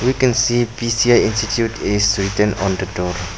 We can see P_C_I institute is written on the door.